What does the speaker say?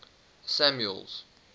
samuel's